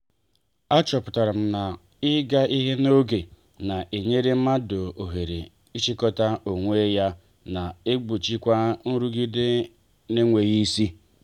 a chọpụtara m na- ịga ihe n'oge na-enyere mmadụ oghere ị chịkọta onwe ya na egbochikwa nrụgide n'enweghị isi.